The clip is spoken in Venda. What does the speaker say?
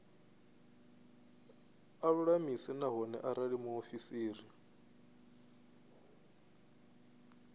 a lulamise nahone arali muofisiri